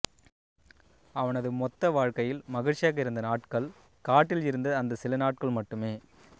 அவனது மொத்த வாழ்க்கையில் மகிழ்ச்சியாக இருந்த நாட்கள் காட்டில் இருந்த அந்தச் சில நாட்கள் மட்டுமே